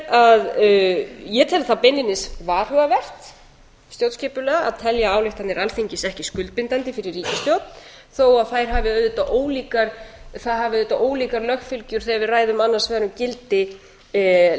hafin ég tel það beinlínis varhugavert stjórnskipulega að telja ályktanir alþingis ekki skuldbindandi fyrir ríkisstjórn þó að það hafi auðvitað ólíkar lögfylgjur þegar við ræðum annars vegar um gildi